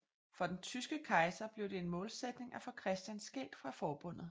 For den tyske kejser blev det en målsætning at få Christian skilt fra forbundet